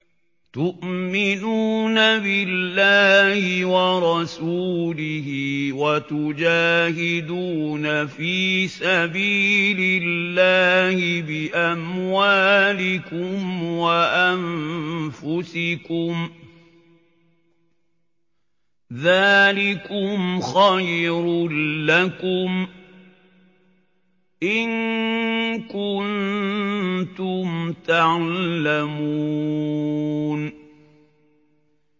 تُؤْمِنُونَ بِاللَّهِ وَرَسُولِهِ وَتُجَاهِدُونَ فِي سَبِيلِ اللَّهِ بِأَمْوَالِكُمْ وَأَنفُسِكُمْ ۚ ذَٰلِكُمْ خَيْرٌ لَّكُمْ إِن كُنتُمْ تَعْلَمُونَ